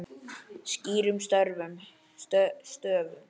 Skýrum stöfum.